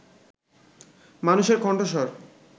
মানুষের কণ্ঠস্বর